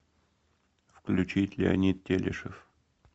включить леонид телешев